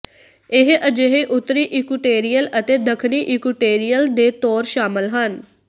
ਇਹ ਅਜਿਹੇ ਉੱਤਰੀ ਇਕੂਟੇਰੀਅਲ ਅਤੇ ਦੱਖਣੀ ਇਕੂਟੇਰੀਅਲ ਦੇ ਤੌਰ ਸ਼ਾਮਲ ਹਨ